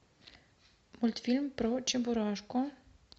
мультфильм про чебурашку